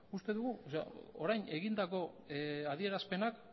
uste dugu orain egindako adierazpenak